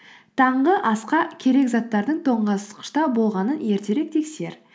таңғы асқа керек заттардың тоңазытқышта болғанын ертерек тексер